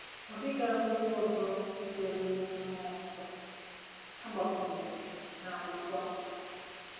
Ọ dịghị akwụkwọ ọzọ sitere n'ike mmụọ nsọ a gbakwụnyèrè na Akwụkwọ Nsọ.